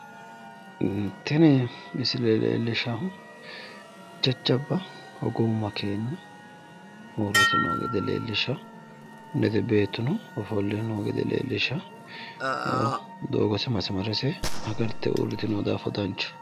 Tini misile leellishaahu jajjabba hogowu makeenna uuritino gede leellishshawo, lede beettuno ofolle noo gede leellishawo, doogose masimarase agarte uuritewo daafo danchaho.